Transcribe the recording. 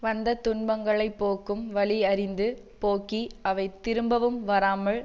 வந்த துன்பங்களை போக்கும் வழி அறிந்து போக்கி அவை திரும்பவும் வராமல்